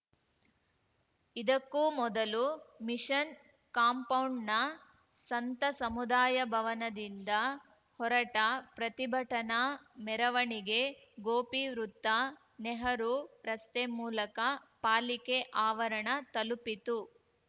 ಇದಕ್ಕೂ ಮೊದಲು ಮಿಷನ್‌ ಕಾಂಪೌಂಡ್‌ನ ಸಂತ ಸಮುದಾಯ ಭವನದಿಂದ ಹೊರಟ ಪ್ರತಿಭಟನಾ ಮೆರವಣಿಗೆ ಗೋಪಿವೃತ್ತ ನೆಹರು ರಸ್ತೆ ಮೂಲಕ ಪಾಲಿಕೆ ಆವರಣ ತಲುಪಿತು